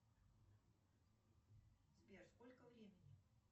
сбер сколько времени